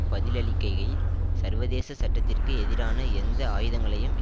பதிலளிக்கையில் சர்வதேச சட்டத்திற்கு எதிரான எந்த ஆயுதங்களையும்